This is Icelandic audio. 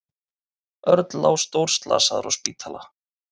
Örn lá stórslasaður á spítala.